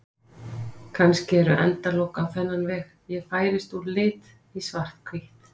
Kannski eru endalok á þennan veg: Ég færist úr lit í svarthvítt.